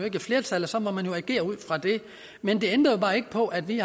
ikke et flertal og så må man agere ud fra det men det ændrer jo bare ikke på at vi